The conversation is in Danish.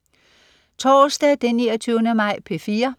Torsdag den 29. maj - P4: